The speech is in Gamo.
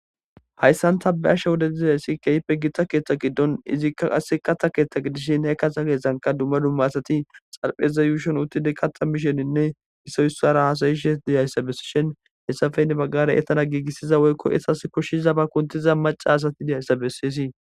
hayssan tabe7asha wodedizessi keehippe gitta keeththa giddon izikka qasse katta keeththa giddishin he kata keesshanka dumma dumma asati xarpheza yuushon uttide katta misheninne isoyssara haasayishe diyayssa bessishin hessafeynne baggare etana giigissiza woykko esas koshshiza ba kuntiza maca asati diyayssa bessisii